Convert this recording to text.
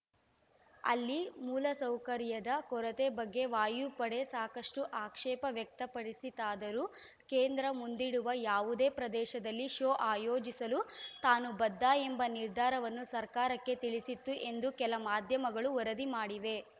ಅಲ್ಲಿ ಮೂಲಸೌಕರ್ಯದ ಕೊರತೆ ಬಗ್ಗೆ ವಾಯುಪಡೆ ಸಾಕಷ್ಟುಆಕ್ಷೇಪ ವ್ಯಕ್ತಪಡಿಸಿತಾದರೂ ಕೇಂದ್ರ ಮುಂದಿಡುವ ಯಾವುದೇ ಪ್ರದೇಶದಲ್ಲಿ ಶೋ ಆಯೋಜಿಸಲು ತಾನು ಬದ್ಧ ಎಂಬ ನಿರ್ಧಾರವನ್ನು ಸರ್ಕಾರಕ್ಕೆ ತಿಳಿಸಿತ್ತು ಎಂದು ಕೆಲ ಮಾಧ್ಯಮಗಳು ವರದಿ ಮಾಡಿವೆ